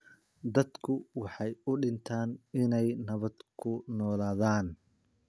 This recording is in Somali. Dadku waxay u dhintaan inay nabad ku noolaadaan